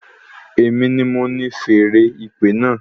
Èmi ni mo ni feèrè ìpè náà